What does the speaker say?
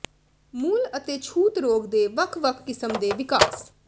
ਮੂਲ ਅਤੇ ਛੂਤ ਰੋਗ ਦੇ ਵੱਖ ਵੱਖ ਕਿਸਮ ਦੇ ਵਿਕਾਸ